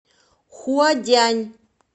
хуадянь